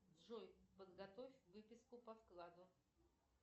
джой подготовь выписку по вкладу